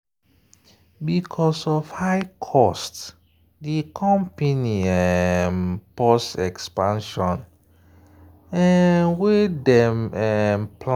because of high cost di company um pause expansion um wey dem um plan.